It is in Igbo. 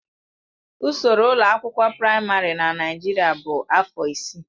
Ụsoro ụlọ akwụkwọ praịmarị na Naijiria bụ afọ isii.